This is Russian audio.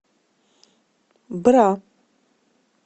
бра